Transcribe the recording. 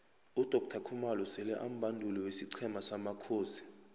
udoctor khumalo sele ambanduli wesiqhema samakhosi